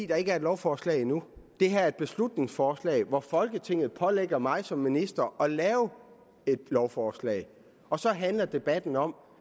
er ikke et lovforslag endnu det her er et beslutningsforslag hvor folketinget pålægger mig som minister at lave et lovforslag og så handler debatten om